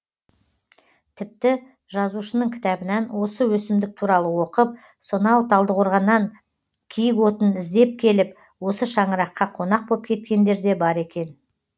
тіпті жазушының кітабынан осы өсімдік туралы оқып сонау талдықорғаннан киікотын іздеп келіп осы шаңыраққа қонақ боп кеткендер де бар екен